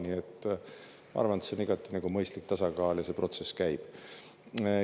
Nii et ma arvan, et see on igati mõistlik tasakaal ja see protsess käib.